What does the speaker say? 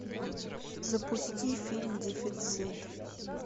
запусти фильм дефицит